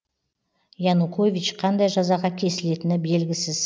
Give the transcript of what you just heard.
янукович қандай жазаға кесілетіні белгісіз